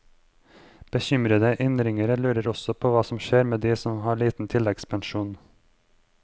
Bekymrede innringere lurer også på hva som skjer med de som har en liten tilleggspensjon.